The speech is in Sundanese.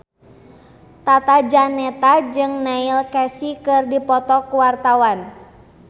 Tata Janeta jeung Neil Casey keur dipoto ku wartawan